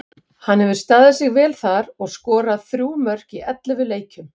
Hann hefur staðið sig vel þar og skorað þrjú mörk í ellefu leikjum.